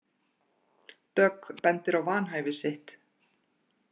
Dögg bendir á vanhæfi sitt